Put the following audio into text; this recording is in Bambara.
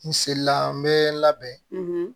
N selila n bɛ labɛn